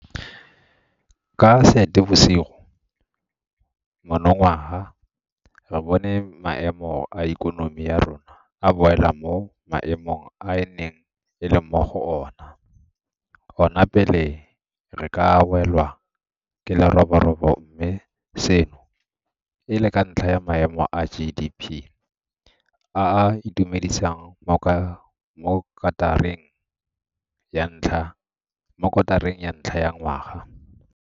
Ka Seetebosigo monongwaga re bone maemo a ikonomi ya rona a boela mo maemong a e neng e le mo go ona pele re ka welwa ke leroborobo mme seno e le ka ntlha ya maemo a GDP a a itumedisang mo kotareng ya ntlha ya ngwaga.